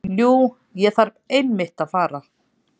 Jú, ég þarf einmitt að fara.